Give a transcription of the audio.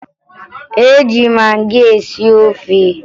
E ji magị esi ofe